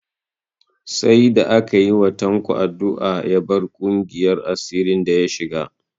Sai da aka yi wa Tanko addu'a ya bar ƙungiyar asirin da ya shiga